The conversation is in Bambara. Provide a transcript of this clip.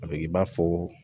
A bɛ kɛ i b'a fɔ